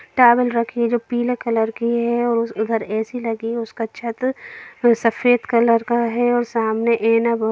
Towel रखी है जो पीले कलर की है। और उस घर ए.सी लगा है उसका छत सफ़ेद कलर का है और सामने आइना बना--